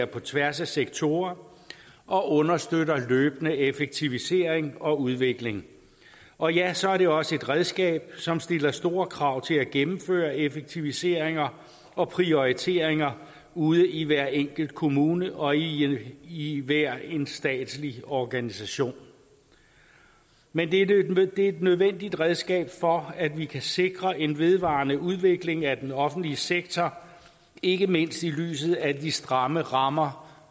på tværs af sektorer og understøtter løbende effektivisering og udvikling og ja så er det også et redskab som stiller store krav til at gennemføre effektiviseringer og prioriteringer ude i hver enkelt kommune og i i hver en statslig organisation men det er et nødvendigt redskab for at vi kan sikre en vedvarende udvikling af den offentlige sektor ikke mindst i lyset af de stramme rammer